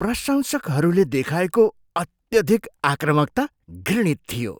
प्रशंसकहरूले देखाएको अत्यधिक आक्रामकता घृणित थियो।